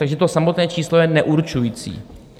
Takže to samotné číslo je neurčující.